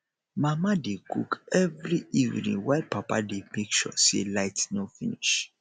mama dey cook every evening while papa dey make sure say light no finish